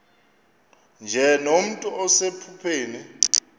nje nomntu osephupheni